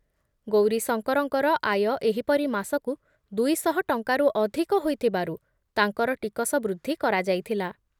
ଗୌରୀଶଙ୍କରଙ୍କର ଆୟ ଏହିପରି ମାସକୁ ଦୁଇଶହ ଟଙ୍କାରୁ ଅଧିକ ହୋଇଥିବାରୁ ତାଙ୍କର ଟିକସ ବୃଦ୍ଧି କରାଯାଇଥିଲା ।